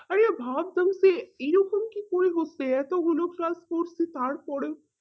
অরে ভাবতে হচ্ছে এরকম কি এত গুলো কাজ করছি তার পরেও